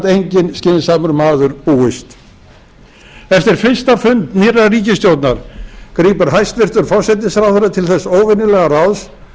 enginn skynsamur maður búist eftir fyrsta fund nýrrar ríkisstjórnar grípur hæstvirtur forsætisráðherra til þess óvenjulega ráðs